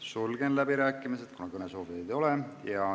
Sulgen läbirääkimised, kuna kõnesoovijaid ei ole.